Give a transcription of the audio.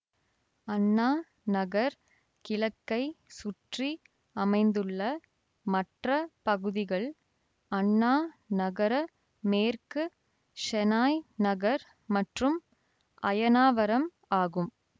அண்ணா நகர் கிழக்கைச் சுற்றி அமைந்துள்ள மற்ற பகுதிகள் அண்ணா நகர மேற்கு ஷெனாய் நகர் மற்றும் அயனாவரம் ஆகும்